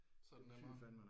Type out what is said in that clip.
Så er det nemmere